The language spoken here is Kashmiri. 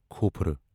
کھوفرٕ